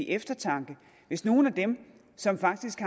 eftertanke hvis nogle af dem som faktisk